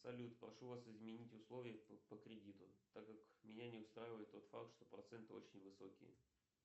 салют прошу вас изменить условия по кредиту так как меня не устраивает тот факт что проценты очень высокие